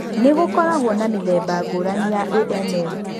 Ni gũkoragũo na mĩthemba ngũrani ya AML.